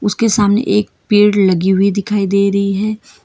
उसके सामने एक पेड़ लगी हुई दिखाई दे रही है।